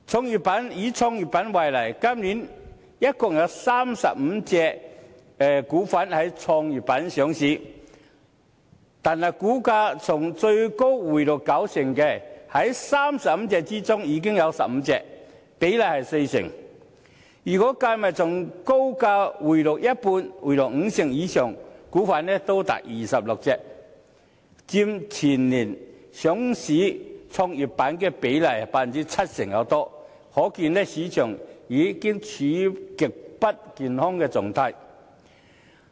又以創業板為例，今年共有35隻股份在創業板上市，但股價從最高回落九成的，在35隻中已有15隻，比例是四成，如果從高價回落五成以上的股份亦計算在內，便多達26隻，佔全年上市創業板比例逾七成，可見市場已經處於極不健康的狀態。